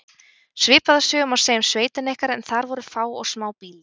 Svipaða sögu má segja um sveitina ykkar en þar voru fá og smá býli.